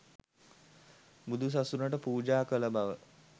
බුදුසසුනට පූජා කළ බව